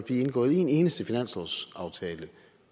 indgået en eneste finanslovsaftale